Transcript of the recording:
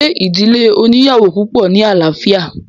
ṣe ìdílé oníyàwò púpọ̀ ní àlàáfíà?